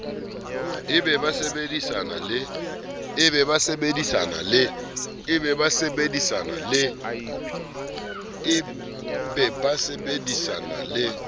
e be ba sebedisana le